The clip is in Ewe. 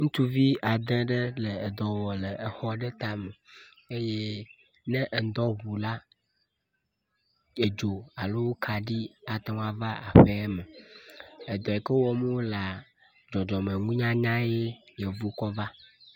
Ŋutsuvi ade ɖe le exɔ aɖe tame, ye ne ŋdɔ ŋu la, edzo alo ate ŋu ava aƒea me, edɔ yi ke wɔm wo lea, dzɔdzɔme nuyanyae yevuwo kɔ vea